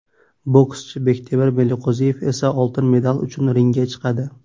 Bokschi Bektemir Meliqo‘ziyev esa oltin medal uchun ringga chiqadi.